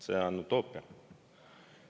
See on utoopia.